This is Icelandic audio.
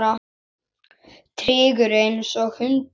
Tryggur einsog hundur.